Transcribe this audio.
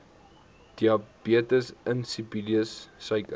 diabetes insipidus suiker